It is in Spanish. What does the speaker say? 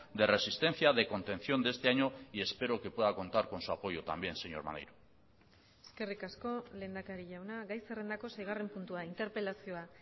de resistencia de contención de este año y espero que pueda contar con su apoyo también señor maneiro eskerrik asko lehendakari jauna gai zerrendako seigarren puntua interpelazioa